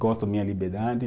Gosto minha liberdade.